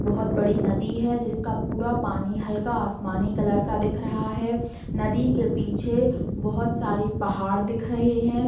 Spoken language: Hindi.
बहुत बड़ी नदी है जिसका पूरा पानी आसमानी कलर का दिख रहा है नदी के पीछे बहुत सारे पहाड़ दिख रहे हैं |